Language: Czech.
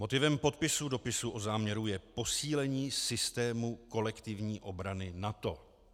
Motivem podpisu dopisu o záměru je posílení systému kolektivní obrany NATO.